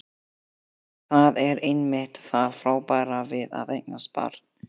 En það er einmitt það frábæra við að eignast barn.